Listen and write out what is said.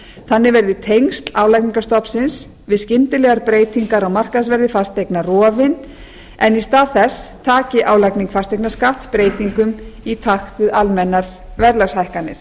þannig verði tengsl álagningarstofns við skyndilegar breytingar á markaðsverði fasteigna rofin en í stað þessi taki álagning fasteignaskatts breytingum í takt við almennar verðlagshækkanir